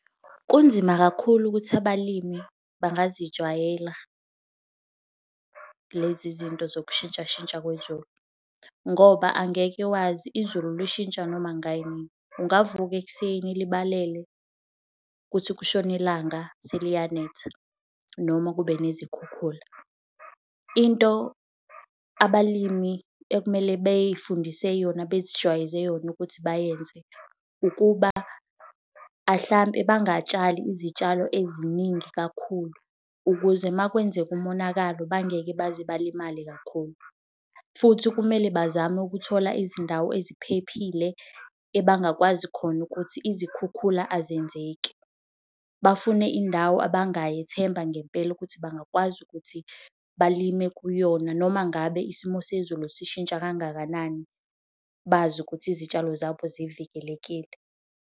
Kunzima kakhulu ukuthi abalimi bangazijwayela lezi zinto zokushintsha shintsha kwezulu ngoba angeke wazi izulu lishintsha noma kungayinini. Ungavuka ekuseni libalele, kuthi kushona ilanga seliyanetha noma kube nezikhukhula. Into abalimi okumele bey'fundise yona, bezijwayeze yona ukuthi bayenze, ukuba ahlampe bangatshali izitshalo eziningi kakhulu ukuze uma kwenzeka umonakalo bangeke baze balimale kakhulu futhi kumele bazame ukukuthola izindawo eziphephile ebangakwazi khona ukuthi izikhukhula azenzeki. Bafune indawo abangayethemba ngempela ukuthi bangakwazi ukuthi balime kuyona noma ngabe isimo sezulu sishintsha kangakanani, bazi ukuthi izitshalo zabo zivikelekile.